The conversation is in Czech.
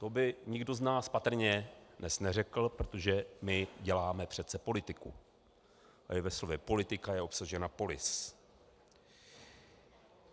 To by nikdo z nás patrně dnes neřekl, protože my děláme přece politiku a i ve slově politika je obsažena polis.